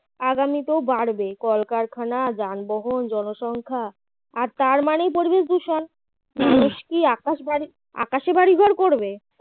আগামীতেও বাড়বে কলকারখানা যানবহন জনসংখ্যা আর তার মানে পরিবেশ দূষণ আকাশবাড়ি আকাশে বাড়িঘর করবে